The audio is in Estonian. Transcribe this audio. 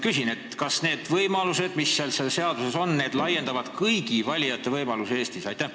Kas need võimalused, mis selles seaduses on, parandavad kõigi valijate võimalusi Eestis?